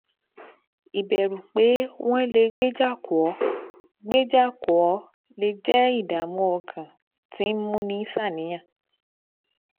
Ìbẹ̀rù pé wọ́n lè gbéjà kò ó gbéjà kò ó lè jẹ́ ìdààmú ọkàn tí ń múni ṣàníyàn